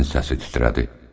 Əminənin səsi titrədi.